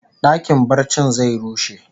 Dakin barcin zai rushe